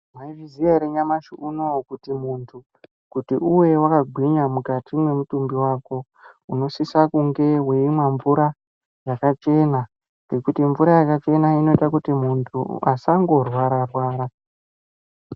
Maizviziya ere nyamashi unouyu kuti muntu kuti uve vakagwinya mukati mwemutumbi vako. Unosisa kunge veimwa mvura yakachena ngekuti mvura yakachena inoita kuti muntu asango rwara-rwara.